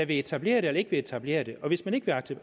vil etablere det eller ikke vil etablere det og hvis man ikke vil